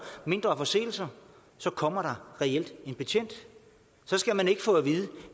mindre forseelser så kommer der reelt en betjent så skal man ikke få at vide at